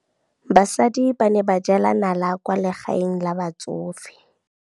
Basadi ba ne ba jela nala kwaa legaeng la batsofe.